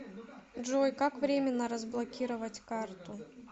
джой как временно разблокировать карту